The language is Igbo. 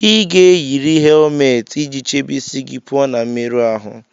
Ị ga-eyiri helmeeti iji chebe isi gị pụọ na mmerụ ahụ